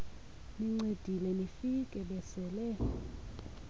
nincedile nifike besele